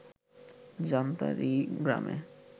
জান্তারী গ্রামে